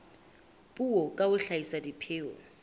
puo ka ho hlahisa dipheo